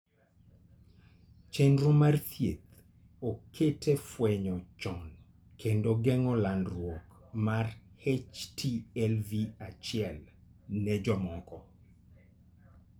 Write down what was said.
Chenro mar thieth oket e fwenyo chon kendo geng'o landruok mar HTLV 1 ne jomoko.